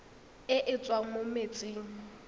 e e tswang mo metsing